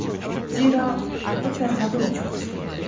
Zira o Fərhadı da çox istəyirdi.